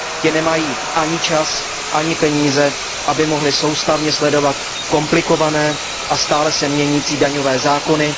Ti nemají ani čas ani peníze, aby mohli soustavně sledovat komplikované a stále se měnící daňové zákony.